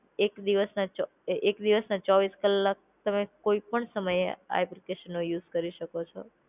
એક દિવસના છ અ એક દિવસના ચોવીસ કલાક તમે કોઈ પણ સમયે આ એપ્લિકેશન નો યુઝ કરી શકો છો.